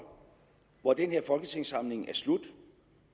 hvor den her folketingssamling er slut